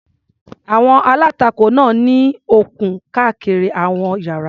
Àwọn aláǹtakùn náà ní okùn káàkiri àwọn ìyára.